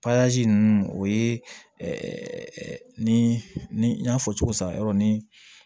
ninnu o ye ni n y'a fɔ cogo san yɔrɔ ni